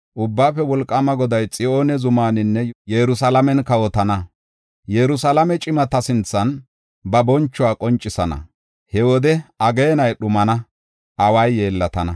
Ubbaafe Wolqaama Goday Xiyoone zumaaninne Yerusalaamen kawotana; Yerusalaame cimata sinthan ba bonchuwa qoncisana. He wode ageenay dhumana, away yeellatana.